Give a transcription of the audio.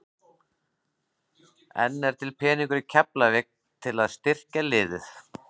En er til peningur í Keflavík til að styrkja liðið?